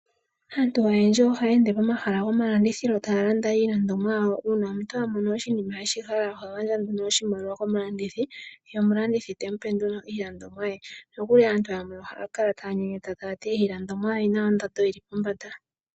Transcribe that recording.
Aantu oyendji ohaye ende pomahala goma landithilo taya landa iilandomwa uuna omuntu a mono oshinima eshihala oha gandja oshimaliwa komulandithi ye omulandithi etemu pe nduno iilandomwa ye nokuli aantu yamwe ohaya kala taya nyenyeta taya ti iilandomwa oyina ondando yili pombanda.